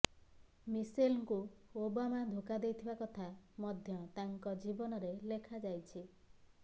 ମିଶେଲଙ୍କୁ Obama ଧୋକା ଦେଇଥିବା କଥା ମଧ୍ୟ ତାଙ୍କ ଜୀବନୀରେ ଲେଖାଯାଇଛି